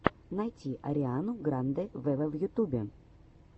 найти ариану гранде вево в ютубе